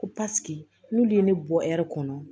Ko paseke n'ulu ye ne bɔ ɛri kɔnɔ